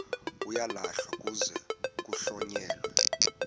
uyalahlwa kuze kuhlonyelwe